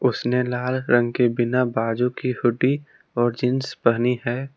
उसने लाल रंग के बिना बाजू के हुडी और जींस पहनी है।